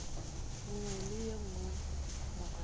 nngwe le ye nngwe morago